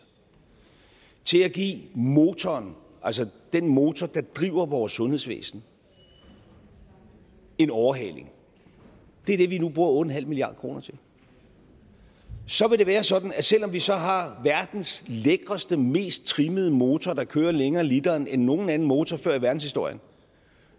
at give motoren altså den motor der driver vores sundhedsvæsen en overhaling det er det vi nu bruger otte milliard kroner til så vil det være sådan at selv om vi så har har verdens lækkeste og mest trimmede motor der kører længere på literen end nogen anden motor før i verdenshistorien